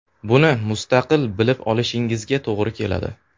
Buni mustaqil bilib olishingizga to‘g‘ri keladi.